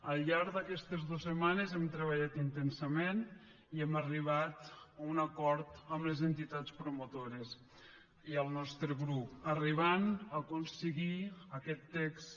al llarg d’aquestes dos setmanes hem treballat intensament i hem arribat a un acord amb les entitats promotores i el nostre grup i hem arribat a aconseguir aquest text